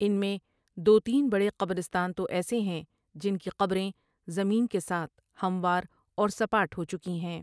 ان میں دو تین بڑے قبرستان تو ایسے ہیں جن کی قبریں زمین کے ساتھ ھموار اور سپاٹ ھو چکی ہیں ۔